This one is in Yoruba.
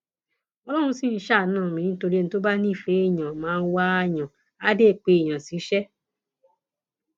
ọlọrun ṣì ń ṣàánú mi nítorí ẹni tó bá nífẹẹ èèyàn máa wáàyàn àá dé pé èèyàn ṣiṣẹ